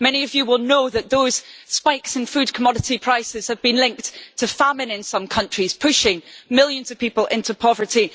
Many of you will know that those spikes in food commodity prices have been linked to famine in some countries, pushing millions of people into poverty.